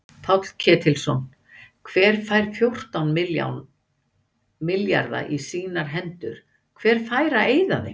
Páll Ketilsson: Hver fær fjórtán milljarða í sínar hendur, hver fær að eyða þeim?